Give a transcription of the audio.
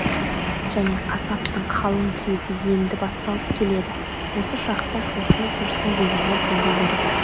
және қасаптың қалың кезі енді басталып келеді осы шақта шошынып жүрсін дегені болу керек